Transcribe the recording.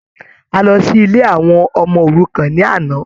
A lọ sí ilé àwọn ọmọ-òrukan ní àná.